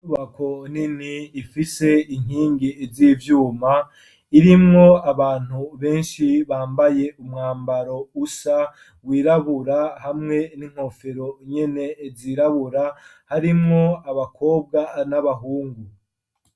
Inyubako nini ifise inkingi z'ivyuma irimwo abantu benshi bambaye umwambaro usa wirabura, hamwe n'inkofero nyene zirabura harimwo abakobwa n'abahungu.